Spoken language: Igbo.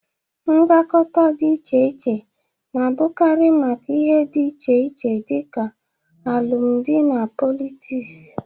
Mgbakọta dị iche iche na-abụkarị maka ndị na ihe dị iche dịka alụmdị na pọlịtịs